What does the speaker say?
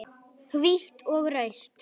Hvítt og rautt.